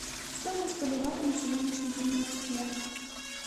стоимость боливара на сегодняшний день в москве